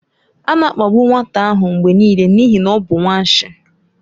A na-akpagbu nwata ahụ mgbe niile n'ihi na ọ bụ nwanshi.